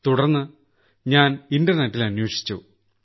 തുടർന്ന് ഞാൻ ഇന്റർനെറ്റിൽ അന്വേഷിച്ചു